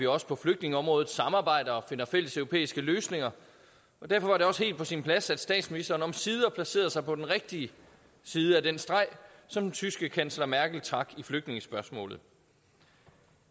også på flygtningeområdet samarbejder og finder fælleseuropæiske løsninger og derfor var det også helt på sin plads at statsministeren omsider placerede sig på den rigtige side af den streg som den tyske kansler merkel trak i flygtningespørgsmålet